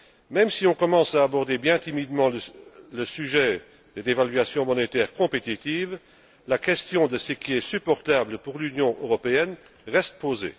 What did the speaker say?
Même si on commence à aborder bien timidement le sujet des dévaluations monétaires compétitives, la question de ce qui est supportable pour l'Union européenne reste posée.